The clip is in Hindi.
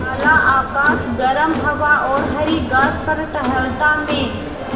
काला आकाश गर्म हवा और हरी घास पर टहलता मैं